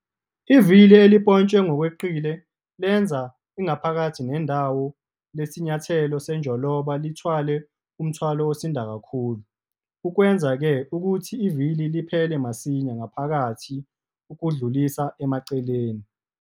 Ivili elimpontshwe ngokweqile lenza ingaphakathi nendawo lesinyathelo senjoloba lithwale umthwalo osinda kakhulu okwenza-ke ukuthi ivili liphele masinya ngaphakathi ukudlulisa emaceleni.